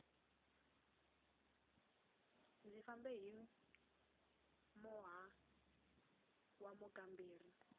ndzi fambe hi moha wa mukamberi